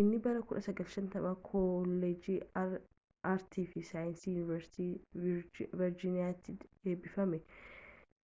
inni bara 1950 koolleejjii aartiifi saayinsii yuunivarsiitii viirjiiniyaatii eebbifame